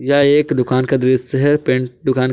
यह एक दुकान का दृश्य है पेंट दुकान--